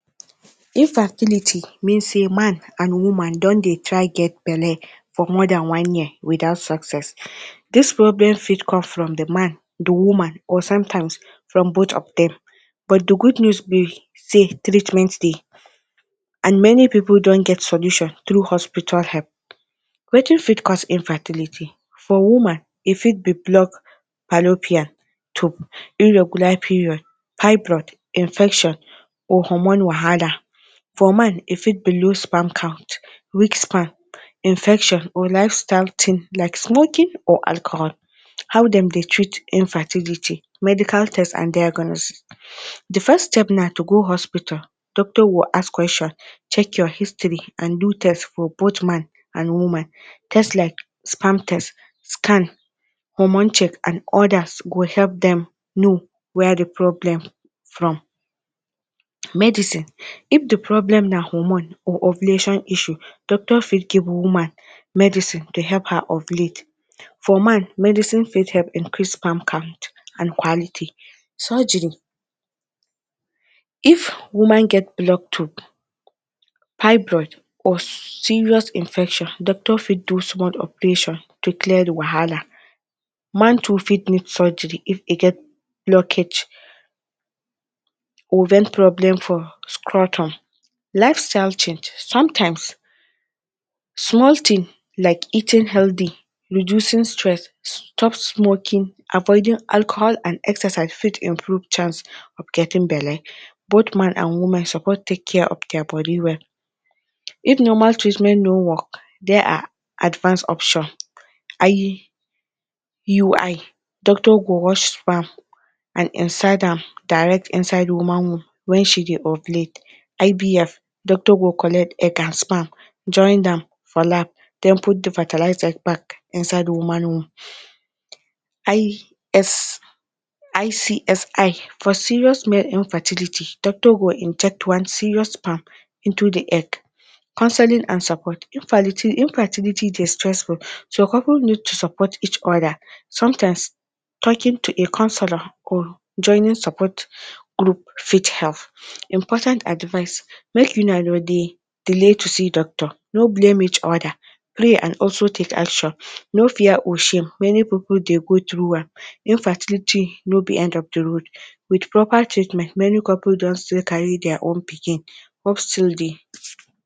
Infertility mean sey man and woman don try get belle for more dan one year without success. Dis problem fit come from de man, de woman or sometimes from both of dem but dey good news be sey treatment dey and many pipul don get solution tru hospital help. Wetin fit cause infertility? for woman e fit be block fallopian tube, irregular period, pipe blood infection or hormonal. For man e fit be low sperm count, weak sperm, infection or lifestyle team like smoking and alcohol. How dem dey treat infertility; Medical test and diagnose- the first step na to go hospital doctor will ask question, check your history and do test for both man and woman. Test like sperm test, scan, hormone check and others go help dem know where dey problem from. Medicine- if di problem na hormone or ovulation issue doctor fit give woman medicine dey help her ovulate, for man medicine fit help increase sperm count and quality. Surgery- if woman get blocked tube, pipe blood or serious infection doctor fit do small operation to clear dey wahala, man too fit need surgery if e get blockage or get problem from scrotum. Lifestyle change- sometimes small thing like eating healthy, reducing stress, stop smoking and avoiding alcohol and exercise fit improve chance of getting belle. Both man and woman suppose take care of dia body well. If normal treatment no work, dia are advance options; IUI- doctor go wash sperm and insert am direct into woman womb when she dey ovulate. IVF- doctor go collect egg and sperm join am for lab then put dey fertilized egg back inside woman womb. ICSI- for serious male infertility, doctor go inject one serious sperm into dey egg. Counseling and support- infertility dey stressful so couple need to support each other sometimes talking to a counselor or joining support group fit help. Important advise- make una no dey delay to see doctor, no blame each other, pray and also take action no fear or shame, many pipul dey go through am. Infertility no be end of dey road, with proper treatment many couple don still carry dia own pikin, hope still dey.